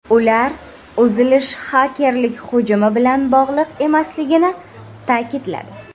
Ular uzilish xakerlik hujumi bilan bog‘liq emasligini ta’kidladi.